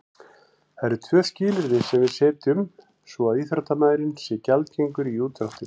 Það eru tvö skilyrði sem við setjum svo að íþróttamaðurinn sé gjaldgengur í útdráttinn.